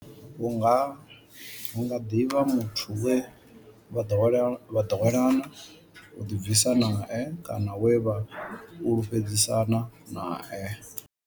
Hu nga ḓi vha muthu we vha ḓowelana u ḓibvisa nae kana we vha fhulufhedzisana nae.